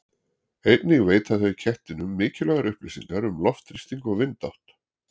Einnig veita þau kettinum mikilvægar upplýsingar um loftþrýsting og vindátt.